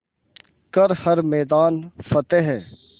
कर हर मैदान फ़तेह